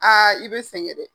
Aa i bɛ sɛgɛn dɛ!